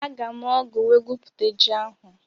Aga m ọ́gụ̀ wee gwupute ji ahụ.